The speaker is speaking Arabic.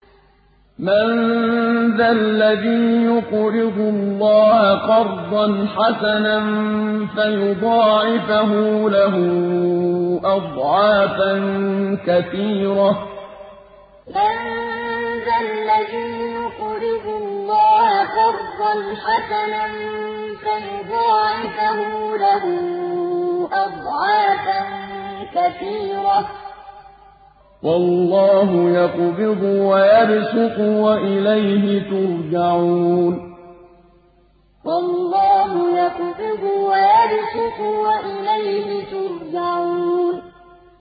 مَّن ذَا الَّذِي يُقْرِضُ اللَّهَ قَرْضًا حَسَنًا فَيُضَاعِفَهُ لَهُ أَضْعَافًا كَثِيرَةً ۚ وَاللَّهُ يَقْبِضُ وَيَبْسُطُ وَإِلَيْهِ تُرْجَعُونَ مَّن ذَا الَّذِي يُقْرِضُ اللَّهَ قَرْضًا حَسَنًا فَيُضَاعِفَهُ لَهُ أَضْعَافًا كَثِيرَةً ۚ وَاللَّهُ يَقْبِضُ وَيَبْسُطُ وَإِلَيْهِ تُرْجَعُونَ